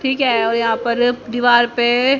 ठीक है और यहां पर दीवाल पे--